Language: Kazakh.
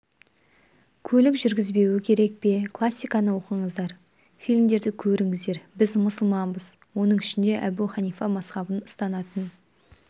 көлік жүргізбеуі керек пе классиканы оқыңыздар фильмдерді көріңіздер біз мұсылманбыз оның ішінде әбу ханифа мазһабын ұстанатын